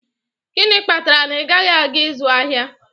Gịnị kpatara na ị gaghị aga ịzụ ahịa?